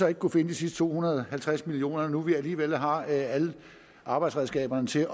vi kunne finde de sidste to hundrede og halvtreds million kr når nu vi alligevel har alle arbejdsredskaberne til